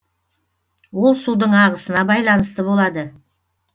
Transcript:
ол судың ағысына байланысты болады